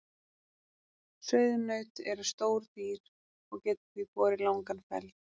Sauðnaut eru stór dýr og geta því borið langan feld.